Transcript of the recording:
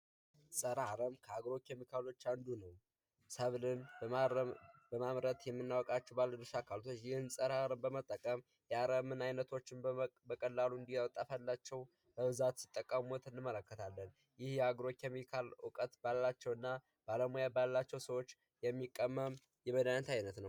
ፀረ ኣረብ አግሮ ኬሚካሎች አንዱ ነው። ሰብልን በማረም በማምረት የምናውቃቸው ባለድርሻ አካላቶች ይህንን ጸረ አረም በመጠቀም የአረምን አይነቶች በቀላሉ እንዲያጠፋላቸው በብዛት ሲጠቀሙት እንመለከታለን። ይህ የአግሮ ኬሚካል እውቀት ባላቸው እና ባለሙያ ባላቸው ሰዎች የሚቀመም የመድሀኒት አይነት ነው።